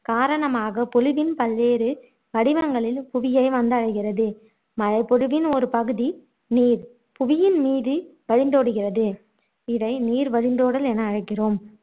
காரணமாக பொழிவின் பல்வேறு வடிவங்களில் புவியை வந்தடைகிறது மழைப்பொழிவின் ஒருபகுதி நீர் புவியின்மீது வழிந்தோடுகிறது இதை நீர் வழிந்தோடல் என அழைக்கிறோம்